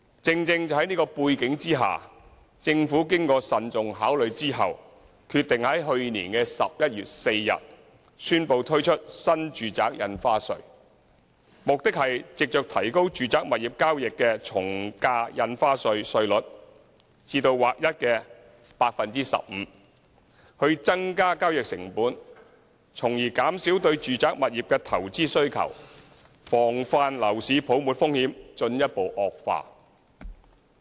正正是在這樣的背景下，政府經慎重考慮，決定在去年11月4日宣布推出新住宅印花稅，目的是藉着提高住宅物業交易的從價印花稅稅率至劃一的 15% 以增加交易成本，從而減少對住宅物業的投資需求，防範樓市泡沫風險進一步惡化。